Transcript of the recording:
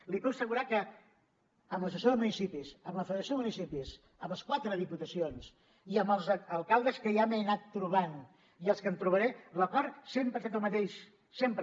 li puc assegurar que amb l’associació de municipis amb la federació de municipis amb les quatre diputacions i amb els alcaldes que ja m’he anat trobant i els que em trobaré l’acord sempre ha set el mateix sempre